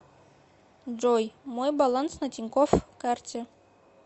джой мой баланс на тинькофф карте